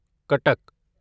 Cuttack